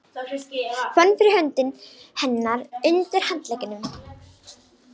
Fann fyrir hönd hennar undir handleggnum.